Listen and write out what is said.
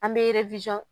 An bɛ